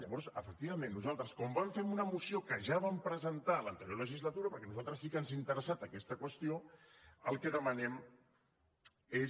llavors efectivament nosaltres com vam fer amb una moció que ja vam presentar en l’anterior legislatura perquè a nosaltres sí que ens ha interessat aquesta qüestió el que demanem és